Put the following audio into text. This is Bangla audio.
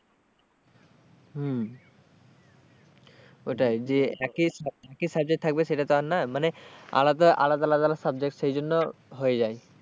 হম ওটাই যে একই একই subject থাকবে সেটা তো আর না মানে আলাদা আলাদা আলাদা subject সেই জন্য হয়ে যায়।